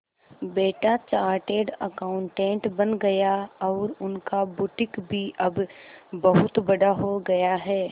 बेटा chartered accountant बन गया और उनका बुटीक भी अब बहुत बड़ा हो गया है